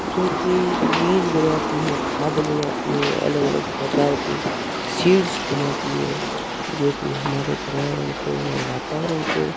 जो कि बीज बनाती है खाद बनाती है अलग अलग प्रकार की सीड्स बनाती है जो कि हमारे पर्यावरण को और वातावरण को--